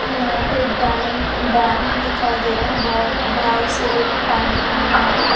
यहां पे डाइम डैम दिखाई दे रहा है बहुत बहाव से पानी आ रहा है।